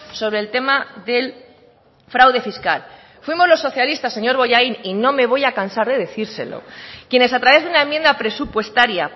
sobre el tema del fraude fiscal fuimos los socialistas señor bollain y no me voy a cansar de decírselo quienes a través de una enmienda presupuestaria